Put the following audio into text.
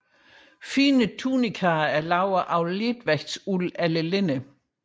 Finere tunikaer var lavet af letvægtsuld eller linned